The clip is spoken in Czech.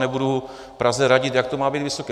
Nebudu Praze radit, jak to má být vysoké.